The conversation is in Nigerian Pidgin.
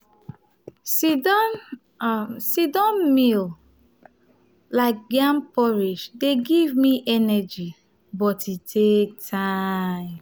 sit-down um siddown meal like yam porridge dey give me energy but e take time.